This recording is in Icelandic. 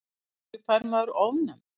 af hverju fær maður ofnæmi